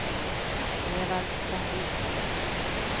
Evald Sandin